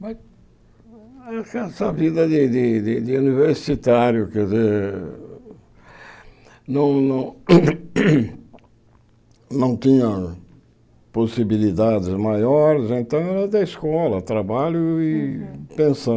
Mas essa vida de de de de universitário, quer dizer, não não tinha possibilidades maiores, né então era da escola, trabalho e pensão.